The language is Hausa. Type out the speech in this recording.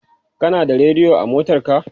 Kana da rediyo a motarka?